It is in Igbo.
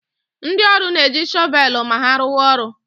Ndị ọrụ na-eji shọvelụ ma ha rụwa orụ